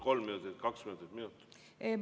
Kolm minutit, kaks minutit, minut?